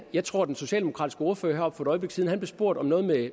jeg tror den socialdemokratiske ordfører heroppe øjeblik siden blev spurgt om noget